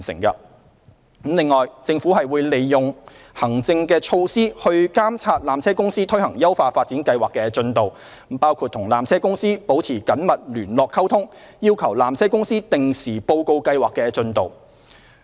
此外，政府會利用行政措施來監察纜車公司推行優化發展計劃的進度，包括與纜車公司保持緊密聯絡溝通，要求纜車公司定時報告計劃的進度。